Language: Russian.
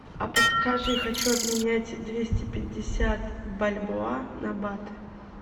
а подскажи хочу обменять двести пятьдесят бальбоа на баты